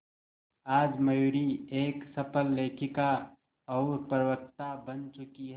आज मयूरी एक सफल लेखिका और प्रवक्ता बन चुकी है